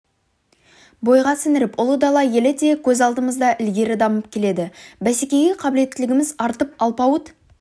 бойға сіңіріп ұлы дала елі де көз алдымызда ілгері дамып келеді бәсекеге қабілеттілігіміз артып алпауыт